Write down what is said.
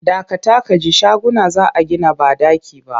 Dakata ka ji shaguna za a gina ba ɗaki ba!